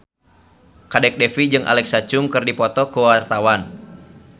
Kadek Devi jeung Alexa Chung keur dipoto ku wartawan